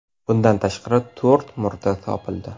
Bundan tashqari, to‘rt murda topildi.